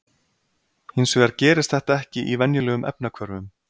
Hins vegar gerist þetta ekki í venjulegum efnahvörfum.